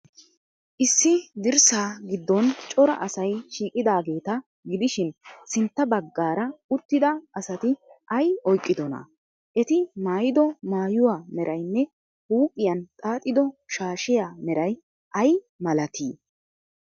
Issi dirssaa giddon cora asay shiiqidaageeta gidishin, sintta baggaara uttida asati ay oyqqidonaa? Eti maayido maayuwa meraynne huuphiyan xaaxido shaashiya meray ay malatii?